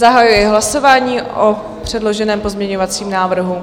Zahajuji hlasování o předloženém pozměňovacím návrhu.